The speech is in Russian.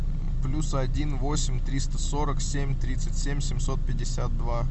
плюс один восемь триста сорок семь тридцать семь семьсот пятьдесят два